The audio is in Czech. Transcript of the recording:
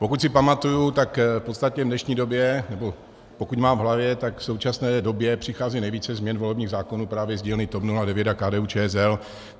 Pokud si pamatuji, tak v podstatě v dnešní době, nebo pokud mám v hlavě, tak v současné době přichází nejvíce změn volebních zákonů právě z dílny TOP 09 a KDU-ČSL.